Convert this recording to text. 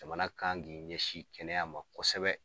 Jamana kan k'i ɲɛsin kɛnɛya ma kosɛbɛ.